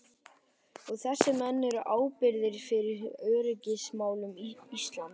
Og þessir menn eru ábyrgir fyrir öryggismálum Íslands!